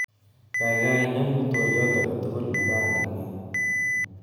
Kaikai inemu twoliot aketugul nekandene